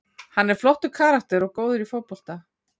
Hann er flottur karakter og góður í fótbolta.